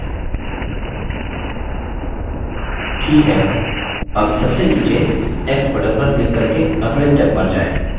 ठीक है अब सबसे नीचे next button पर क्लिक करके अगले step पर जाएँ